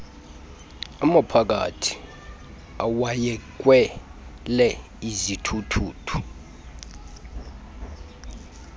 amaphakathi awayekhwele izithuthuthu